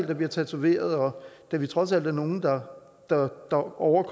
der bliver tatoveret og da vi trods alt er nogle der er over